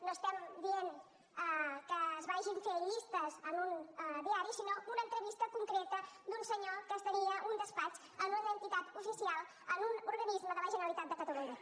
no estem dient que es vagin fer llistes en un diari sinó una entrevista concreta d’un senyor que tenia un despatx en una entitat oficial en un organisme de la generalitat de catalunya